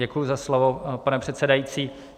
Děkuji za slovo, pane předsedající.